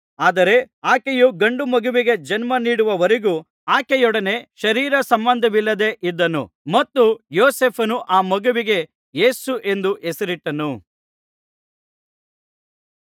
ಆದರೆ ಆಕೆಯು ಗಂಡು ಮಗುವಿಗೆ ಜನ್ಮನೀಡುವವರೆಗೂ ಆಕೆಯೊಡನೆ ಶರೀರ ಸಂಬಂಧವಿಲ್ಲದೆ ಇದ್ದನು ಮತ್ತು ಯೋಸೇಫನು ಆ ಮಗುವಿಗೆ ಯೇಸು ಎಂದು ಹೆಸರಿಟ್ಟನು